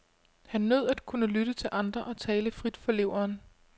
Han nød at kunne lytte til andre og tale frit fra leveren.